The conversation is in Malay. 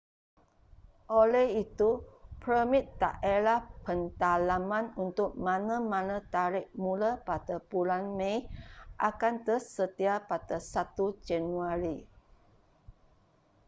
oleh itu permit daerah pendalaman untuk mana-mana tarikh mula pada bulan mei akan tersedia pada 1 januari